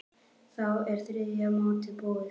Þá er þriðja mótið búið.